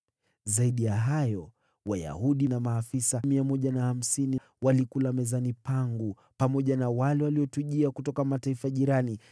Zaidi ya hayo, Wayahudi na maafisa 150 walikula mezani pangu, pamoja na wale waliotujia kutoka mataifa jirani.